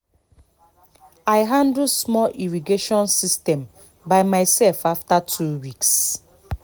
i handle small irrigation system by myself after two weeks